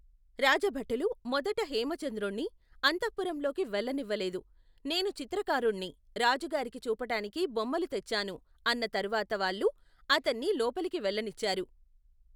రాజభటులు మొదట హేమచంద్రుణ్ణి, అంతఃపురంలోకి వెళ్ళనివ్వలేదు, నేను చిత్రకారుణ్ణి రాజుగారికి చూపటానికి బొమ్మలు తెచ్చాను అన్న తరువాత వాళ్లు అతన్ని లోపలికి వెళ్ళనిచ్చారు.